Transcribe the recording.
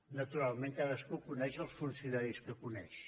naturalment cadascú coneix els funcionaris que coneix